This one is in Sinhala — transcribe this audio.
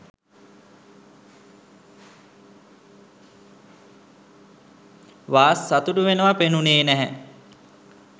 වාස් සතුටු වෙනව පෙනුනේ නැහැ.